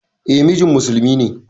E, mijin musulmi ne.